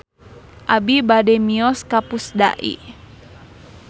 Abi bade mios ka Pusdai